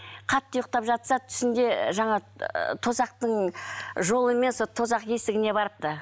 қатты ұйықтап жатса түсінде і жаңағы і тозақтың жолымен сол тозақ есігіне барыпты